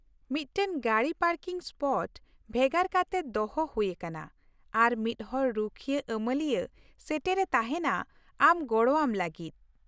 ᱢᱤᱫᱴᱟᱝ ᱜᱟᱹᱰᱤ parking spot ᱵᱷᱮᱜᱟᱨ ᱠᱟᱛᱮ ᱫᱚᱦᱚ ᱦᱩᱭ ᱟᱠᱟᱱᱟ, ᱟᱨ ᱢᱤᱫᱦᱚᱲ ᱨᱩᱠᱷᱤᱭᱟᱹ ᱟᱢᱟᱹᱞᱤᱭᱟᱹ ᱥᱮᱴᱮᱨᱮ ᱛᱟᱦᱮᱱᱟ ᱟᱢ ᱜᱚᱲᱚᱣᱟᱢ ᱞᱟᱹᱜᱤᱫ ᱾